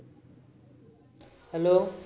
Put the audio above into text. Hello